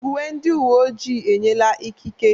Uwe ndị uwe ojii enyela ikike.